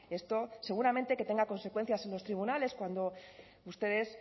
esto seguramente que tenga consecuencias en los tribunales cuando ustedes